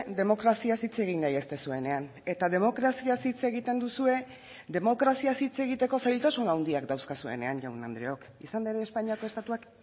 demokraziaz hitz egin nahi ez duzuenean eta demokraziaz hitz egiten duzue demokraziaz hitz egiteko zailtasun handiak dauzkazuenean jaun andreok izan ere espainiako estatuak